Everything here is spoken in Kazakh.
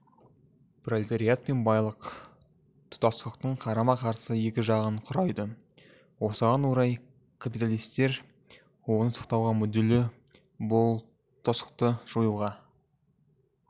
пролетариат пен байлық тұтастықтың қарама-қарсы екі жағын құрайды осыған орай капиталистер оны сақтауға мүдделі бұл тұтастықты жоюға